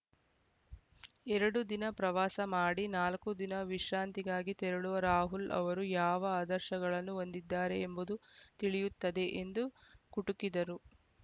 ಎರಡು ದಿನ ಪ್ರವಾಸ ಮಾಡಿ ನಾಲ್ಕು ದಿನ ವಿಶ್ರಾಂತಿಗಾಗಿ ತೆರಳುವ ರಾಹುಲ್‌ ಅವರು ಯಾವ ಆದರ್ಶಗಳನ್ನು ಹೊಂದಿದ್ದಾರೆ ಎಂಬುದು ತಿಳಿಯುತ್ತದೆ ಎಂದು ಕುಟುಕಿದರು